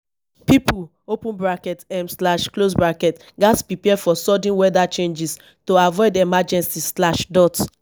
pipo open bracket um slash close bracket gatz prepare for sudden weather changes to avoid emergency slash dot